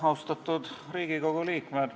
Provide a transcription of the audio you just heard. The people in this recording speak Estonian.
Austatud Riigikogu liikmed!